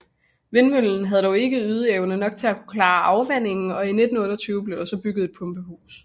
Vindmøllen havde dog ikke ydeevne nok til at klare afvandingen og i 1928 blev der så bygget et pumpehus